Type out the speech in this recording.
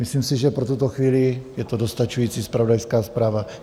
Myslím si, že pro tuto chvíli je to dostačující zpravodajská zpráva.